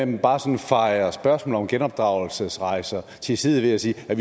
man bare sådan fejer spørgsmålet om genopdragelsesrejser til side ved at sige at